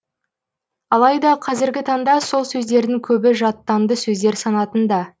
алайда қазіргі таңда сол сөздердің көбі жаттанды сөздер санатында